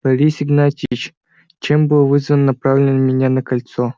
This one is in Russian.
борис игнатьевич чем было вызвано направление меня на кольцо